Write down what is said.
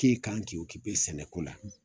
K'i kan Ki sɛnɛ ko la.